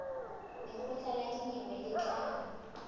lekgotla la dinyewe le tla